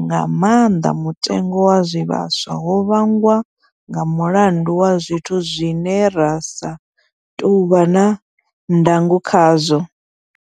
nga maanḓa mutengo wa zwivhaswa, ho vhangwa nga mulandu wa zwithu zwine ra sa tou vha na ndango khazwo.